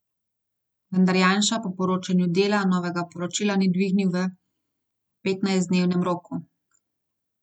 Vendar Janša po poročanju Dela novega poročila ni dvignil v petnajstdnevnem roku.